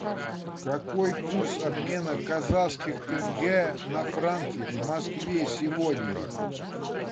какой курс обмена казахских тенге на франки в москве сегодня